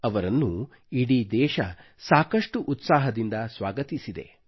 ಅವರನ್ನು ಇಡೀ ದೇಶವು ಸಾಕಷ್ಟು ಉತ್ಸಾಹದಿಂದ ಸ್ವಾಗತಿಸಿದೆ